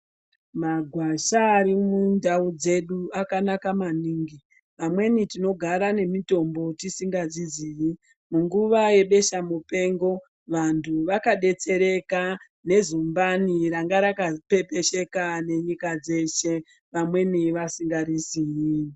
Magwasha ari mundau dzedu akanaka maningi amweni tinogara nemitombo tisingadzizivi. Munguwa yebesha mupengo vantu vakadetsereka nezumbani ranga rakapepesheka nenyika dzeshe vamweni vasingariziyi.